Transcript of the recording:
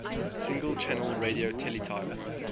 single channel radio teletype